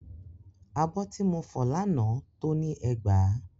Abọ́ ti mo fọ lánàá tó ni ẹgbàá.